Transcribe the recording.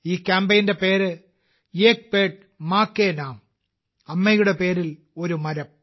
ഈ പദ്ധതിയുടെ പേര് - 'ഏക് പേട് മാ കേ നാം' അമ്മയുടെ പേരിൽ ഒരു മരം